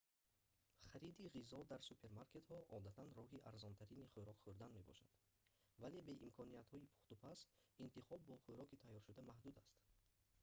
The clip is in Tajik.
хариди ғизо дар супермаркетҳо одатан роҳи арзонтарини хӯрок хӯрдан мебошад вале бе имкониятҳои пухтупаз интихоб бо хӯроки тайёршуда маҳдуд аст